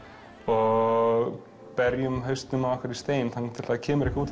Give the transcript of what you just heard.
og berjum hausnum við stein þangað til það kemur eitthvað út